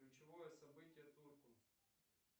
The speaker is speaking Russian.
ключевое событие турку